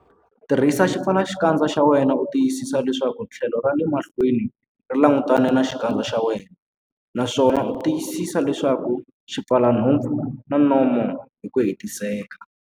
Tirhisa xipfalaxikandza xa wena u tiyisisa leswaku tlhelo ra le mahlweni ri langutane na xikandza xa wena, naswona tiyisisa leswaku xi pfala nhompfu na nomo hi ku hetiseka.